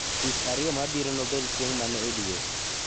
Tich ariyo mabiro nobed chieng' mane edwe